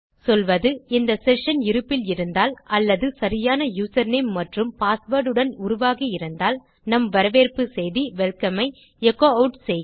சொல்வது இந்த செஷன் இருப்பில் இருந்தால் அல்லது சரியான யூசர்நேம் மற்றும் பாஸ்வேர்ட் உடன் உருவாகி இருந்தால் நம் வரவேற்பு செய்தி வெல்கம் ஐ எச்சோ ஆட் செய்க